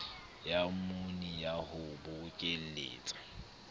ya mmuni ya ho bokelletsa